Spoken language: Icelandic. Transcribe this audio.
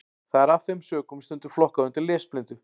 Það er af þeim sökum stundum flokkað undir lesblindu.